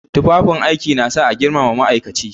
Tufafin aiki na sa a girmama ma'aikaci.